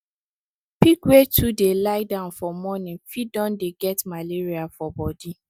pig wey too dey lie down for morning fit don dey get malaria for body